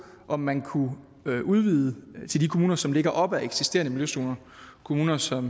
om man kunne udvide det til de kommuner som ligger op ad eksisterende miljøzoner kommuner som